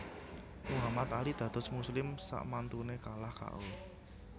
Muhammad Ali dados muslim sakmantune kalah K O